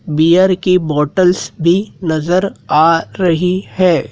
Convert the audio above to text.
Beer की bottles भी नजर आ रही हैं।